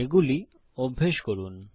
এগুলি অভ্যাস করুন